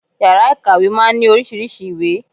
Yàrá ìkàwé máa ń ní oríṣiríṣei ìwé